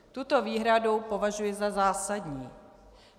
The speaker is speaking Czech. Tuto výhradu považuji za zásadní.